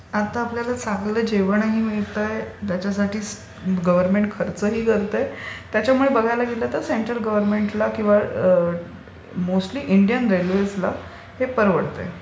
आता आपल्याला चांगलं जेवणही मिळते, त्याच्यासाठी गव्हर्नमेंट खर्चही करतय. त्याच्यामुळे बघायला गेलं तर सेंट्रल गव्हर्नमेंटला मोस्टली इंडियन रेलवेजला ते परवडते आहे.